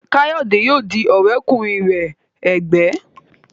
Kayode ní yóò dì òré kùnrin rẹ ègbé.